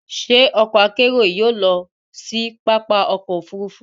Ṣé ọkọ-akerò yìí yóò lọ si pápá ọkọ̀ òfurufú?